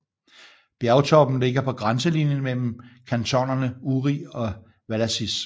Bjergtoppen ligger på grænselinjen mellem kantonerne Uri og Valais